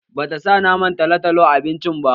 Bata sa naman talotalo a abincin ba